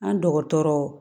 An dɔgɔtɔrɔ